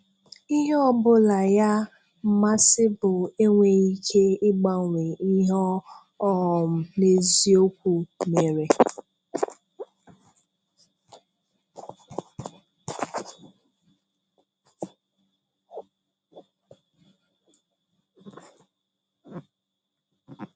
Ihe ọ̀bụ̀la ya mmasì bụ enweghị ike ịgbanwe ihe ọ um n’eziokwu mere.